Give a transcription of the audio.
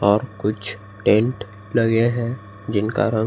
और कुछ टेंट लगे हैं जिनका रंग--